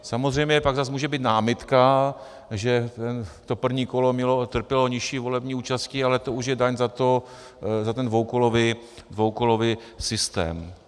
Samozřejmě pak zase může být námitka, že to první kolo trpělo nižší volební účastí, ale to už je daň za ten dvoukolový systém.